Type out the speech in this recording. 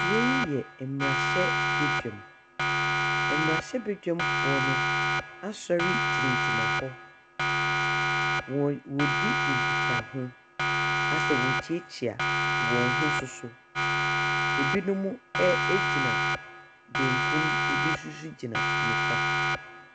Bea yi yɛ mmarahyɛbadwam. Mmarahyɛbadwamfoɔ no asɔre gyinagyina hɔ. Wɔ wɔredi nkitaho. Asɛ wɔrekyeakyea wɔn ho nso so. Ebinom ɛ ɛgyina bɛnkum, ebi nso so gyina nifa.